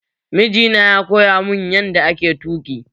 Miji na ya koya mun yanda ake tuƙi